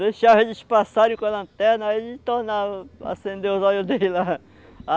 Deixava eles passarem com a lanterna, aí ele tornava, acendeu os olhos dele lá.